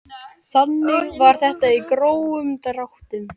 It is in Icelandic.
Þannig var þetta í grófum dráttum.